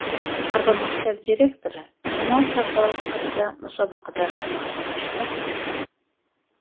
Har bir maktab direktori jamoa sardori sifatida musobaqada munosib ishtirok etdi.